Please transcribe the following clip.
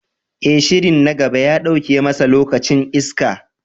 E, shirin na gaba ya ɗauke masu lokacin iska.